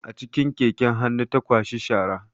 A cikin keken hannu ta kwashi shara